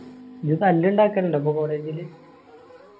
നീ തല്ലിണ്ടാകാലിണ്ടാ ഇപ്പൊ college ഇല്